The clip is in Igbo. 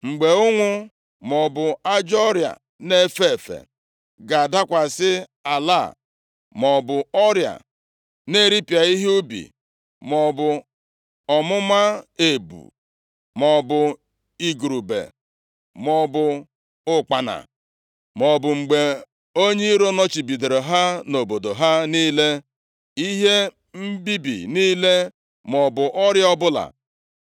“Mgbe ụnwụ maọbụ ajọ ọrịa na-efe efe ga-adakwasị ala a, maọbụ ọrịa na-eripịa ihe ubi maọbụ ọmụma ebu, maọbụ igurube maọbụ ụkpana, maọbụ mgbe onye iro nọchibidoro ha nʼobodo ha niile, ihe mbibi niile maọbụ ọrịa ọbụla,